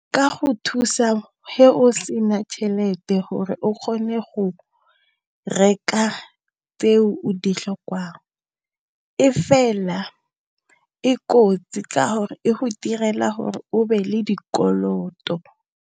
Ka go thusa ge o sena tšhelete gore o kgone go reka tseo o ditlhokang, e fela e kotsi ka gore e go direla ya gore o be le dikoloto.